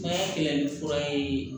Baara kɛlɛ ni fura ye